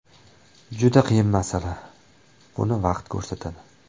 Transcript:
Juda qiyin masala, buni vaqt ko‘rsatadi.